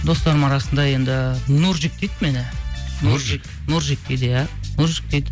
достарымның арасында енді нурджик дейді мені нурджик нурджик дейді иә нурджик дейді